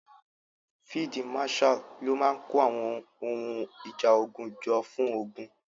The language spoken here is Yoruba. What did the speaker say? Field marshal ló máa kó àwọn ohun ìjà ogun jọ fún ogun.